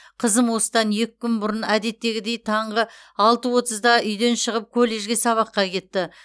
қызым осыдан екі күн бұрын әдеттегідей таңғы алты отызда үйден шығып колледжге сабаққа кетті